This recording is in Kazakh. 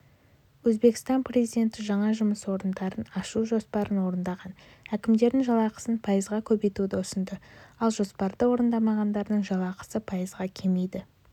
өзбекстан президенті жаңа жұмыс орындарын ашу жоспарын орындаған әкімдердің жалақысын пайызға көбейтуді ұсынды ал жоспарды орындамағандарының жалақысы пайызға кемиді